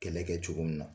Kɛlɛ kɛ cogo min na